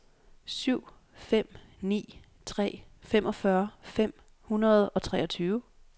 syv fem ni tre femogfyrre fem hundrede og treogtyve